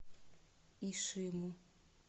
ишиму